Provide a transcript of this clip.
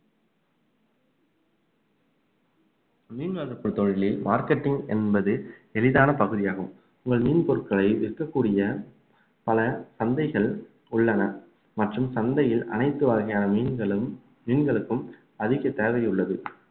மீன்வளர்ப்பு தொழிலில் marketing என்பது எளிதான பகுதியாகும் உங்கள் மீன் பொருட்களை விற்கக்கூடிய பல சந்தைகள் உள்ளன மற்றும் சந்தையில் அனைத்து வகையான மீன்களும் மீன்களுக்கும் அதிக தேவை உள்ளது